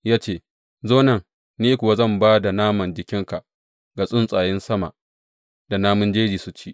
Ya ce, Zo nan, ni kuwa zan ba da naman jikinka ga tsuntsayen sama da namun jeji su ci.